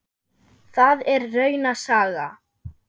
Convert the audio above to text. Það er rauna saga.